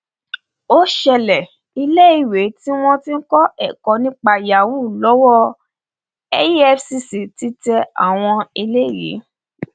ó ṣẹlẹ iléèwé tí wọn ti ń kọ ẹkọ nípa yahoo lọwọ efcc ti tẹ àwọn eléyìí